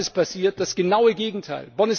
Was ist passiert? Das genaue Gegenteil!